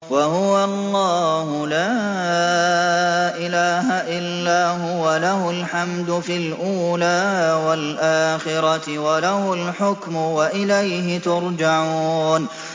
وَهُوَ اللَّهُ لَا إِلَٰهَ إِلَّا هُوَ ۖ لَهُ الْحَمْدُ فِي الْأُولَىٰ وَالْآخِرَةِ ۖ وَلَهُ الْحُكْمُ وَإِلَيْهِ تُرْجَعُونَ